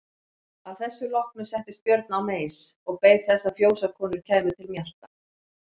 Að þessu loknu settist Björn á meis og beið þess að fjósakonur kæmu til mjalta.